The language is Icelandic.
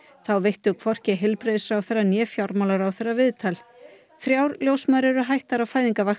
þá veittu hvorki heilbrigðisráðherra né fjármálaráðherra viðtal þrjár ljósmæður eru hættar á